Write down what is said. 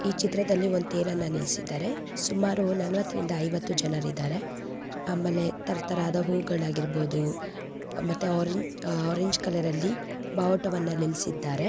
ಈ ಚಿತ್ರದಲ್ಲಿ ಒಂದು ತೆರನ್ನು ನಿಲ್ಲಿಸಿದ್ದಾರೆ ಸುಮಾರು ನಲವತ್ತರಿಂದ ಐವತ್ತು ಜನರಿದಾರೆ ಆಮೇಲೆ ತರತರಹದ ಹೂಗಳು ಹಾಗಿರಬಹುದು ಮತ್ತೆ ಆರೆಂಜ್ ಆರೆಂಜ್ ಕಲರ್ ಅಲ್ಲಿ ಬಾವುಟವನ್ನು ನಿಲ್ಲಿಸಿದ್ದಾರೆ.